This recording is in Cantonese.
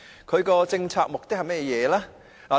它的政策目的是甚麼？